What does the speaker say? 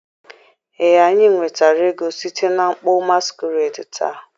ee, anyị nwetara ego site na mkpọ masquerade taa